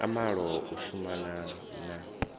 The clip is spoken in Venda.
a malo u shumana na